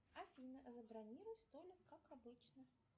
афина забронируй столик как обычно